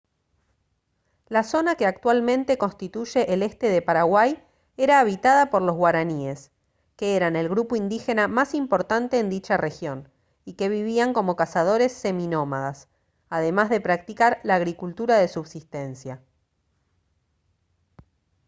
la zona que actualmente constituye el este de paraguay era habitada por los guaraníes que eran el grupo indígena más importante en dicha región y que vivían como cazadores seminómadas además de practicar la agricultura de subsistencia